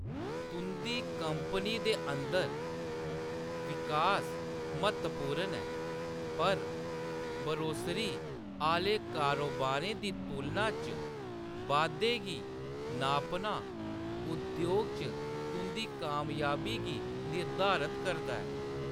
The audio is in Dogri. तुंʼदी कंपनी दे अंदर विकास म्हत्तवपूर्ण ऐ, पर बरोसरी आह्‌ले कारोबारें दी तुलना च बाद्धे गी नापना उद्योग च तुंʼदी कामयाबी गी निर्धारत करदा ऐ।